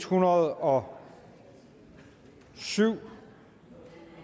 hundrede og syv